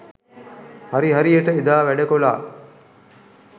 හරි හරියට එදා වැඩ කොලා.